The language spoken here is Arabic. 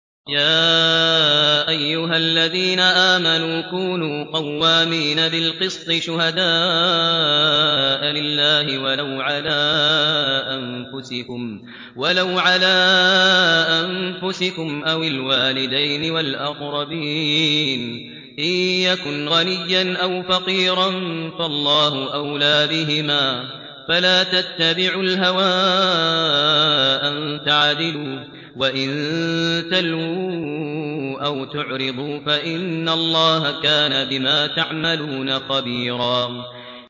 ۞ يَا أَيُّهَا الَّذِينَ آمَنُوا كُونُوا قَوَّامِينَ بِالْقِسْطِ شُهَدَاءَ لِلَّهِ وَلَوْ عَلَىٰ أَنفُسِكُمْ أَوِ الْوَالِدَيْنِ وَالْأَقْرَبِينَ ۚ إِن يَكُنْ غَنِيًّا أَوْ فَقِيرًا فَاللَّهُ أَوْلَىٰ بِهِمَا ۖ فَلَا تَتَّبِعُوا الْهَوَىٰ أَن تَعْدِلُوا ۚ وَإِن تَلْوُوا أَوْ تُعْرِضُوا فَإِنَّ اللَّهَ كَانَ بِمَا تَعْمَلُونَ خَبِيرًا